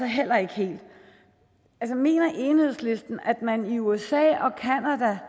heller ikke helt mener enhedslisten at man i usa og canada